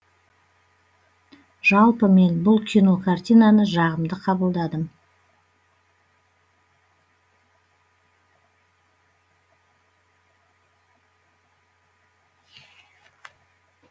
жалпы мен бұл кино картинаны жағымды қабылдадым